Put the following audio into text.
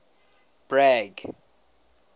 bragg